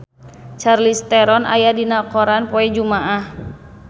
Charlize Theron aya dina koran poe Jumaah